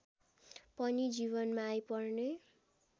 पनि जीवनमा आइपर्ने